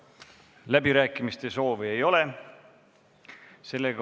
Läbirääkimiste soovi ei ole.